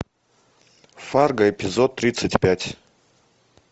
фарго эпизод тридцать пять